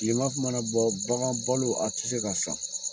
kilema mana bɔ bagan balo a ti se ka san